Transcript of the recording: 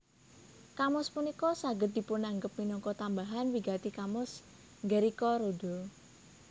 Kamus punika saged dipunanggep minangka tambahan wigati kamus Gericka Rooda